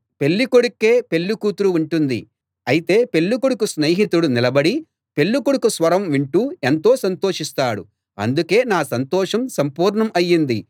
పెళ్ళి కొడుక్కే పెళ్ళి కూతురు ఉంటుంది అయితే పెళ్ళి కొడుకు స్నేహితుడు నిలబడి పెళ్ళికొడుకు స్వరం వింటూ ఎంతో సంతోషిస్తాడు అందుకే నా సంతోషం సంపూర్ణం అయింది